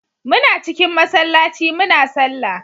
Muna cikin masallaci muna sallah